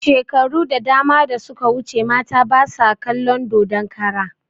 Shekaru da dama da suka wuce mata basu kalon dodon kara